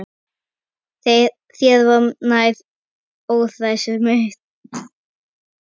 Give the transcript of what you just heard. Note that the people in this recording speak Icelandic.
Þér var nær, óhræsið þitt.